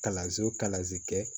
Kalanso kalanze kɛ